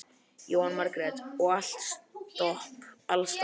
Jóhanna Margrét: Og allt stopp alls staðar?